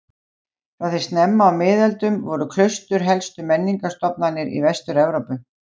Frá því snemma á miðöldum voru klaustur helstu menningarstofnanir í Vestur-Evrópu.